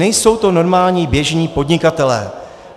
Nejsou to normální, běžní podnikatelé.